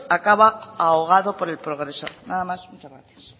acaba ahogado por el progreso nada más muchas gracias